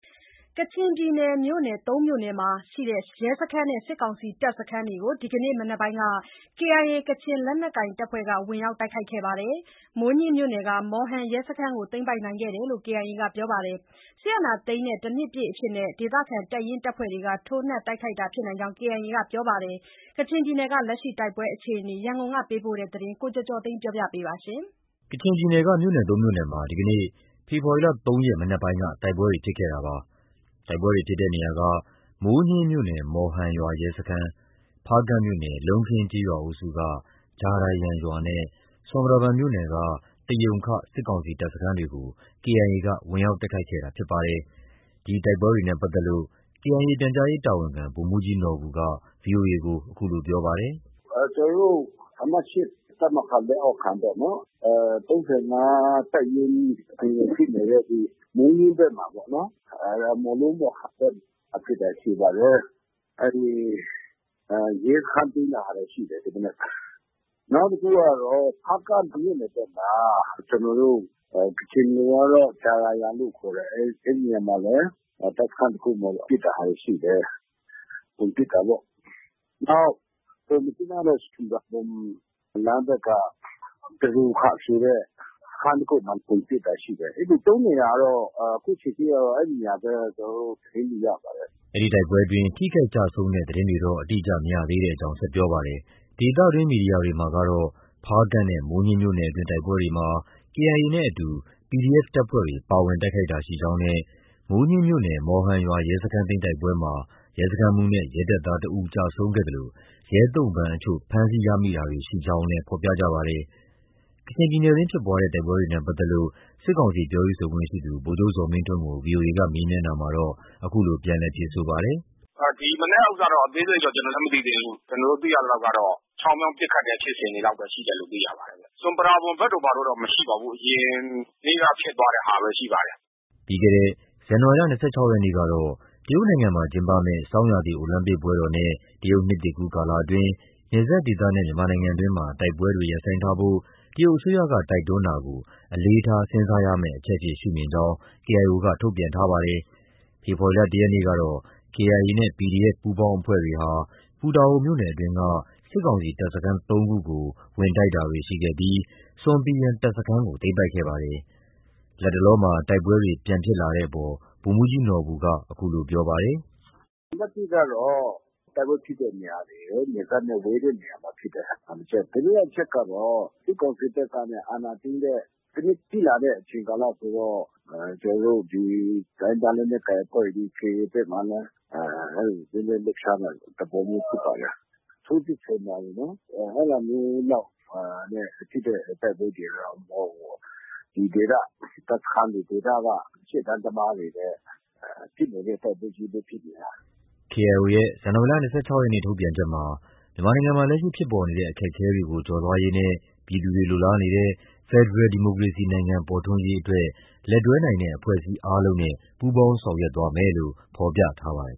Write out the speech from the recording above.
ကချင်ပြည်နယ် မြို့နယ် သုံးမြို့နယ်အတွင်းက ရဲစခန်းနဲ့ စစ်ကောင်စီ တပ်စခန်းတွေကို ဒီကနေ့ မနက်က KIA ကချင်လက်နက်ကိုင်အဖွဲ့က ဝင်ရောက်တိုက်ခိုက်ခဲ့ပါတယ်။ မိုးညှင်းမြို့နယ်က မော်ဟန် ရဲစခန်းကို သိမ်းပိုက်ခဲ့တယ်လို့ KIA ကပြောပါတယ်။ စစ်အာဏာသိမ်းတဲ့ တနှစ်ပြည့် အဖြစ် ဒေသခံတပ်ရင်း၊ တပ်ဖွဲ့တွေက ထိုးနှက်တိုက်ခိုက်တာဖြစ်နိုင်ကြောင်း KIA ကပြောပါတယ်။ ကချင်ပြည်နယ်က လက်ရှိ တိုက်ပွဲအခြေအနေ ရန်ကုန်ကပေးပို့တဲ့သတင်းကို ကိုကျော်ကျော်သိန်းက တင်ပြပေးထားပါတယ်။ ကချင်ပြည်နယ်က မြို့နယ် ၃ မြို့နယ်မှာ ဒီကနေ့ ဖေဖော်ဝါရီ ၃ ရက် မနက်ပိုင်းက တိုက်ပွဲဖြစ်ခဲ့တာပါ။ တိုက်ပွဲဖြစ်တဲ့ နေရာက မိုးညှင်းမြို့နယ် မော်ဟန်ရွာရဲစခန်း၊ ဖားကန့်မြို့နယ် လုံးခင်းကျေးရွာအုပ်စုက ဂျာရာယန်ရွာနဲ့ ဆွမ်ပရာဘွမ်မြို့နယ်က တရုံခ စစ်ကောင်စီတပ်စခန်းတွေကို KIA က ဝင်ရောက် တိုက်ခိုက်ခဲ့တာဖြစ်ပါတယ်။ ဒီတိုက်ပွဲဖြစ်ပွားတာနဲ့ ပတ်သက်လို့ KIA ပြန်ကြားရေးတာဝန်ခံ ဗိုလ်မှူးကြီးနော်ဘူက VOA ကို အခုလို ပြောပါတယ်။ “ကျနော်တို့ အမှတ် ၈ တပ်မဟာ လက်အောက်ခံပေါ့နော်၊ ၃၅ တပ်ရင်း နယ်မြေဖြစ်နေတဲ့ မိုးညှင်းဘက်မှာပေါ့နော်။ မော်လူး၊ မော်ဟန် ဘက်မှာ ဖြစ်တာရှိပါတယ်။ အဲဒီ ရဲစခန်းသိမ်းတဲ့ဟာလည်း ရှိတယ်။ ဒီမနက်။ နောက်တခုကတော့ ဖားကန့်မြို့နယ်ဘက်မှာ ကျနောတို့ ကချင်လိုကတော့ ဂျာရာယန်လို့ ခေါ်တယ်။ အဲဒီနေရာမှာလည်း တပ်စခန်းတခု ပစ်တဲ့ဟာတွေရှိတယ်။ ဝင်ပစ်တာပေါ့။ နောက်တခုက မြစ်ကြီးနားနဲ့ ဆွမ်ပရာဘွမ်လမ်းဘက်က တရုံခဆိုတဲ့ စခန်းတခုမှာ ဝင်ပစ်တာရှိတယ်။ အဲဒီ ၃ နေရာတော့၊ အခုချိန်ထိတော့ အဲဒီ နေရာပဲ ကျနော်တို့ သတင်းရပါတယ်။” အဲဒီတိုက်ပွဲအတွင်း ထိခိုက်ကျဆုံးတဲ့သတင်းတော့ အတိအကျ မရသေးကြောင်း ဆက်ပြောပါတယ်။ ဒေသတွင်း မီဒီယာတွေမှာကတော့ ဖားကန့်နဲ့ မိုးညှင်းမြို့နယ်အတွင်း တိုက်ပွဲတွေမှာ KIA နဲ့ အတူ PDF တပ်ဖွဲ့တွေ ပါဝင် တိုက်ခိုက်တာရှိကြောင်းနဲ့ မိုးညှင်းမြို့နယ် မော်ဟန်ရွာ ရဲစခန်းသိမ်းတိုက်ပွဲမှာ ရဲစခန်းမှုးနဲ့ ရဲတပ်သားတဦး ကျဆုံးခဲ့သလို ရဲသုံ့ပန်းအချို့ ဖမ်းဆီးရမိတာတွေရှိကြောင်းလည်း ဖော်ပြကြပါတယ်။ ကချင်ပြည်နယ်တွင်း ဖြစ်ပွားတဲ့ တိုက်ပွဲတွေနဲ့ပတ်သက်လို့ စစ်ကောင်စီ ပြောရေးဆိုခွင့်ရှိသူ ဗိုလ် ချုပ် ဇော်မင်းထွန်းကို ဗွီအိုအေက မေးမြန်းရာမှာတော့ အခုလို ပြန်လည် ဖြေဆိုပါတယ်။ “ဒီမနက်တော့ အသေးစိတ်တော့ ကျနော်လည်း မသိသေးဘူး။ ကျနော်တို့ သိရသလောက်ကတော့ ချောင်းမြောင်း ပစ်ခတ်တဲ့ ဖြစ်စဉ်တွေလောက်ပဲ ရှိတယ်လို့ သိရပါတယ်။ ဆွမ်ပရာဘွမ်ဘက်တို့ ဘယ်တို့တော့ မရှိပါဘူး။ အရင်နေ့က ဖြစ်သွားတဲ့ဟာပဲ ရှိပါတယ်။” ပြီးခဲ့တဲ့ ဇန်နဝါရီလ ၂၆ ရက်နေ့ကတော့ တရုတ်နိုင်ငံမှာ ကျင်းပမယ့် ဆောင်းရာသီ အိုလံပစ်ပွဲတော်နဲ့ တရုတ်နှစ်သစ်ကူးကာလအတွင်း နယ်စပ်ဒေသနဲ့ မြန်မာပြည်တွင်းမှာ တိုက်ပွဲတွေ ရပ်ဆိုင်းထားဖို့ တရုတ်အစိုးရက တိုက်တွန်းတာကို အလေးထား စဉ်းစားရမယ့်အချက်အဖြစ် ရှုမြင်ကြောင်း KIO က ထုတ်ပြန်ထားပါတယ်။ ဖေဖော်ဝါရီ ၁ ရက်နေ့ကတော့ KIA နဲ့ PDF ပူးပေါင်းအဖွဲ့တွေဟာ ပူတာအိုမြို့နယ်အတွင်းက စစ်ကောင်စီ တပ်စခန်း သုံးခုကို ဝင်ရောက်တိုက်ခိုက်တာတွေ ရှိခဲ့ပြီး ဆွမ်ပီယန်တပ်စခန်းကို သိမ်းပိုက်ခဲ့ပါတယ်။ လတ်တလောတိုက်ပွဲတွေ ပြန်ဖြစ်လာတဲ့အပေါ်မှာတော့ ဗိုလ်မှူးကြီးနော်ဘူက အခုလို ပြောပါတယ်။ “နံပါတ်တစ်ကတော့ တိုက်ပွဲဖြစ်တဲ့နေရာတွေက နယ်စပ်နဲ့ ဝေးတဲ့နေရာတွေဖြစ်ပါတယ်။ ဒုတိယတချက် ကတော့ စစ်ကောင်စီဘက်က အာဏာသိမ်းတဲ့ တစ်နှစ်ပြည့်လာတဲ့ ကာလဆိုတော့ ကျနော်တို့ ဒီတိုင်းရင်းသားလက်နက်ကိုင်အဖွဲ့တွေ၊ KIA ဘက်မှာလည်း အဲလို နည်းနည်းလှုပ်ရှားလာတဲ့ သဘောမျိုးဖြစ်ပါတယ်။ ထိုးစစ်ဆင်တာတွေ အဲဒါမျိုးလောက် ဖြစ်တဲ့ တိုက်ပွဲတွေတော့ မဟုတ်ဘူးပေါ့။ ဒီဒေသ တပ်စခန်းတွေ၊ ဒေသက ရှေ့တန်းသမားတွေပဲ ဖြစ်နေတဲ့ တိုက်ပွဲချည်းပဲ ဖြစ်နေတာ။” KIO ရဲ့ ဇန်နဝါရီလ ၂၆ ရက်နေ့ ထုတ်ပြန်ချက်မှာ မြန်မာနိုင်ငံမှာ လက်ရှိဖြစ်ပေါ်နေတဲ့ အခက်အခဲတွေ ကျော်လွှားရေးနဲ့ ပြည်သူတွေလိုလားနေတဲ့ ဖက်ဒရယ်ဒီမိုကရေစီနိုင်ငံပေါ်ထွန်း ရေးအတွက် လက်တွဲနိုင်တဲ့အဖွဲ့အစည်း အားလုံးနဲ့ ပူးပေါင်းဆောင်ရွက်သွားမယ်လို့ ဖော်ပြထားပါတယ်